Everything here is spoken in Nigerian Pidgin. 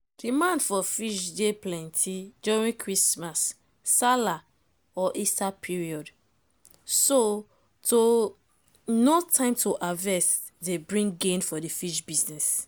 demand for fish dey plenty during christmas salah or easter period. so to know time to harvest dey bring gain for the fish business